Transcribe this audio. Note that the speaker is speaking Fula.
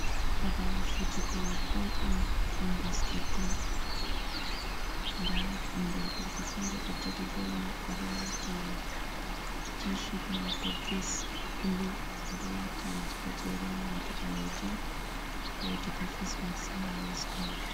Baball fijugo boll on dum basket bol. da bengel gorgo fere do jogi bol mai odo wati tishet mabo ves bulu odo wati gajeren wondo balejum, wodi bo fes mass ha yeso mako.